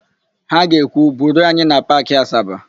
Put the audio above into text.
Ha ga-ekwu, "buruo anyị na Paakị Asaba"!